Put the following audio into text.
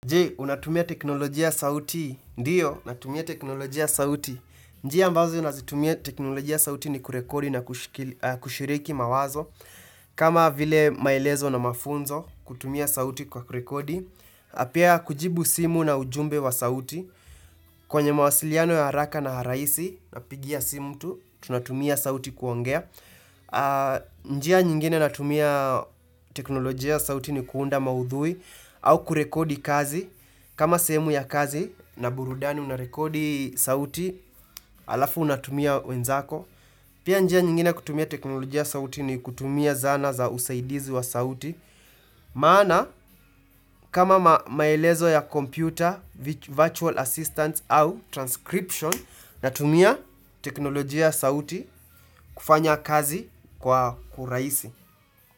Je, unatumia teknolojia sauti? Ndio, natumia teknolojia sauti. Njia ambazo nazitumia teknolojia sauti ni kurekodi na kushiriki mawazo. Kama vile maelezo na mafunzo kutumia sauti kwa kurekodi. Piaa kujibu simu na ujumbe wa sauti. Kwenye mawasiliano ya haraka na raisi na pigia simu mtu, tunatumia sauti kuongea. Njia, nyingine natumia teknolojia sauti ni kuunda maudhui. Au kurekodi kazi. Kama sehemu ya kazi na burudani unarekodi sauti, alafu unatumia wenzako. Pia njia nyingine kutumia teknolojia sauti ni kutumia zana za usaidizi wa sauti. Maana, kama maelezo ya computer, virtual assistant au transcription, natumia teknolojia sauti kufanya kazi kwa huraisi.